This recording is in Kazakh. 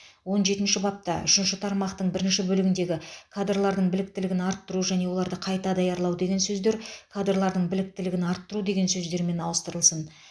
он жетінші бапта үшінші тармақтың бірінші бөлігіндегі кадрлардың біліктілігін арттыру және оларды қайта даярлау деген сөздер кадрлардың біліктілігін арттыру деген сөздермен ауыстырылсын